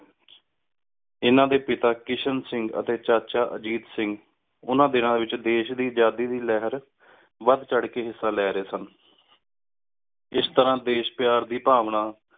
ਏਨਾ ਡੀ ਪਤਾ ਕਿਸ਼ਨ ਸਿੰਘ ਟੀ ਚਾਚਾ ਅਜੀਥ ਸਿੰਘ ਓਹਨਾ ਦਿਨਾ ਏਚ ਦੇਸ਼ ਦੀ ਆਜ਼ਾਦੀ ਦੀ ਲੇਹਾਰ ਵਧ ਚਾਢ਼ ਕ ਹਿੱਸਾ ਲੇ ਰੇ ਸੰਨ ਏਸ ਤਰ੍ਹਾਂ ਦੇਸ਼ ਪ੍ਯਾਰ ਦੀ ਭਾਵਨਾ